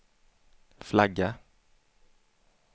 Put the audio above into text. flagga